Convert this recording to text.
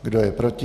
Kdo je proti?